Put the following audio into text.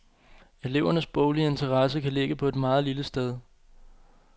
Elevernes boglige interesse kan ligge på et meget lille sted.